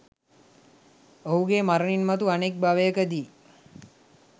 ඔහුගේ මරණින් මතු අනෙක් භවයකදී